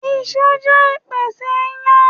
Iṣu jẹ́ ìpèsè ìyàn.